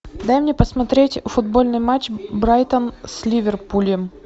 дай мне посмотреть футбольный матч брайтон с ливерпулем